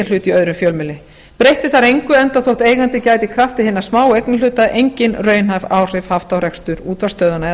í öðrum fjölmiðli breytti þar engu enda þótt eigandinn gæti í krafti hinna smáu eignarhluta engin raunhæf áhrif haft á rekstur útvarpsstöðvanna eða